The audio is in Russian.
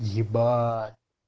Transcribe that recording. ебать